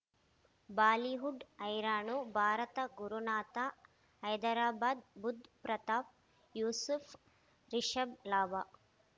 Bollywood ಹೈರಾಣ ಭಾರತ ಗುರುನಾಥ ಹೈದರಾಬಾದ್ ಬುಧ್ ಪ್ರತಾಪ್ ಯೂಸುಫ್ ರಿಷಬ್ ಲಾಭ